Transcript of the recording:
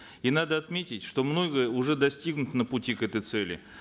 и надо отметить что многое уже достигнуто на пути к этой цели